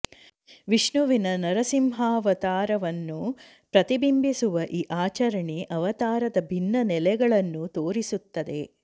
ವಿಷ್ಣುವಿನ ನರಸಿಂಹಾವತಾರವನ್ನು ಪ್ರತಿಬಿಂಬಿಸುವ ಈ ಆಚರಣೆ ಅವತಾರದ ಭಿನ್ನ ನೆಲೆಗಳನ್ನು ತೋರಿಸುತ್ತದೆ